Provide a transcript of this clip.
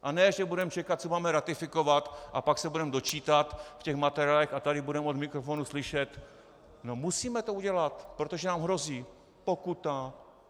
A ne že budeme čekat, co máme ratifikovat, a pak se budeme dočítat v těch materiálech a tady budeme od mikrofonu slyšet: No musíme to udělat, protože nám hrozí pokuta.